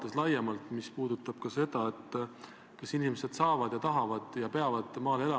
Kas te võiksite auväärt Riigikogu valgustada selles, missugused võiksid teie arvates olla selle kaubandussõja mõjud Eesti ettevõtlusele?